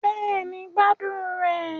Bẹ́ẹ̀ni, gbádùn rẹ̀